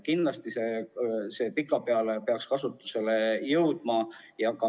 Kindlasti peaksid need pikapeale kasutusele jõudma.